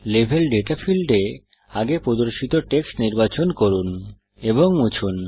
level data ফীল্ডে আগে প্রদর্শিত টেক্সট নির্বাচন করুন এবং মুছুন